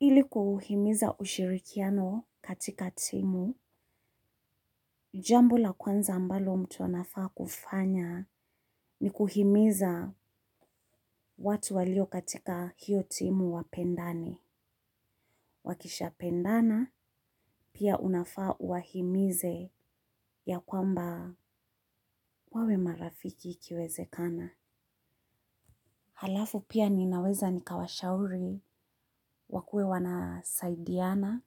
Ili kuhimiza ushirikiano katika timu, jambo la kwanza ambalo mtu anafaa kufanya ni kuhimiza watu walio katika hiyo timu wapendane. Wakishapendana, pia unafaa uwahimize ya kwamba wawe marafiki ikiwezekana. Halafu pia ninaweza nikawashauri wakue wanasaidiana